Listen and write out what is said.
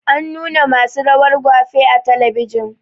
An nuna ma su rawar gwafe a talabijin